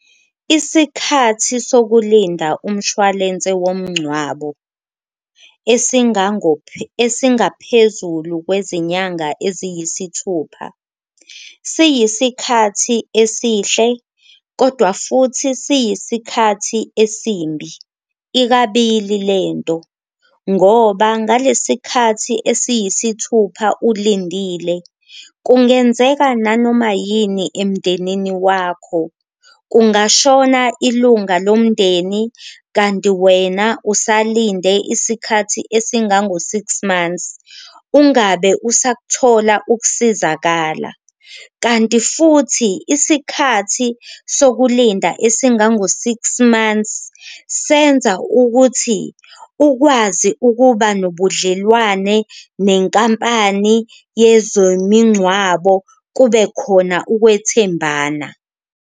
Isikhathi sokulinda umshwalense womncwabo esingango esingaphezulu kwezinyanga eziyisithupha, siyisikhathi esihle kodwa futhi siyisikhathi esimbi ikabili le nto ngoba ngalesi sikhathi esiyisithupha ulindile kungenzeka nanoma yini emndenini wakho. Kungashona ilunga lomndeni kanti wena usalinde isikhathi esingango-six months ungabe usakuthola ukusizakala, kanti futhi isikhathi sokulinda esingango-six months senza ukuthi ukwazi ukuba nobudlelwane nenkampani yezomincwabo kube khona ukwethembana.